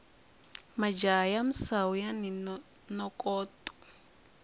majaha ya misawu yani nokoto